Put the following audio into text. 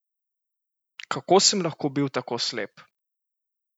Kako sem lahko bil tako slep?